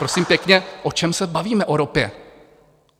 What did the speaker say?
Prosím pěkně, o čem se bavíme o ropě?